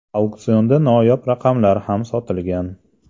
Auksionda noyob raqamlar ham sotilgan.